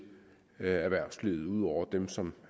erhvervslivet ud over dem som